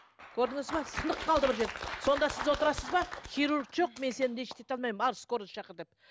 көрдіңіз бе сынып қалды бір жері сонда сіз отырасыз ба хирург жоқ мен сені лечит ете алмаймын ал скорый шақыр деп